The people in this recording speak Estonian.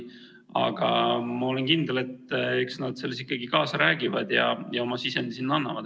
Aga ma olen kindel, et eks nad selles ikkagi kaasa räägivad ja sinna oma sisendi annavad.